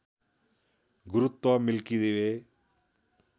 गुरुत्व milky way